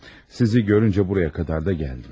Sizi görüncə buraya qədər də gəldim.